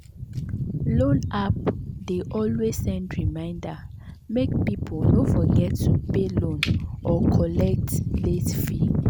loan app dey always send reminder make people no forget to pay loan or collect late fee.